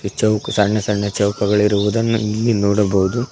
ಚೌಕ್ ಸಣ್ಣ ಸಣ್ಣ ಚೌಕಗಳಿರುವುದನ್ನು ಇಲ್ಲಿ ನೋಡಬವುದು.